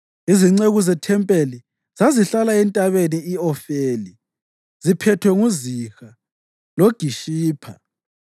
Izinceku zethempelini zazihlala entabeni i-Ofeli, ziphethwe nguZiha loGishipha.